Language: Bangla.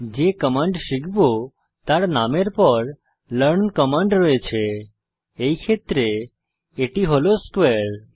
যে কমান্ড শিখব তার নামের পর লার্ন কমান্ড রয়েছে এই ক্ষেত্রে এটি হল স্কোয়ারে